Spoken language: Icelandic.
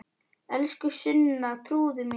Elsku Sunna, trúðu mér!